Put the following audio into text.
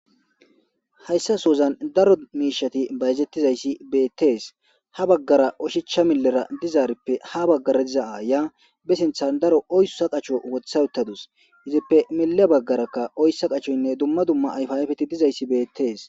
Hayssa sozan daro miishati bayazettizayssi beettees ha baggara oshichcha millera dizaarippe ha baggara diza'a ya be sinthan daro oyssa qacho wothayuttadus izippe mile baggarakka oyssa qachoynne dumma dumma ayfayfeti dizayssi beettees.